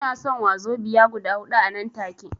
Ina son wazobiya guda huɗu anan take